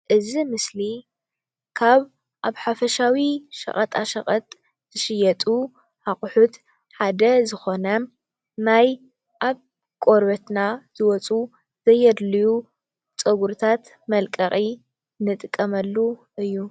እዚ ምስሊ ካብ ኣብ ሓፈሻዊ ሸቐጣሸቐጥ ዝሽየጡ ኣቑሑት ሓደ ዝኾነ ናይ ኣብ ቆርበትና ዝወፁ ዘየድልዩ ፀጉርታት መልቀቒ ንጥቀመሉ እዩ ።